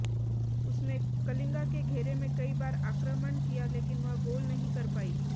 उसने कलिंगा के घेरे में कई बार आक्रामण किया लेकिन वह गोल नहीं कर पाई